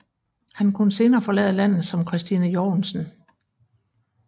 Han kunne senere forlade landet som Christine Jorgensen